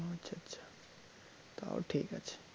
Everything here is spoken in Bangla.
তাও ঠিক আছে